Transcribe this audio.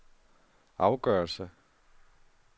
afgørelse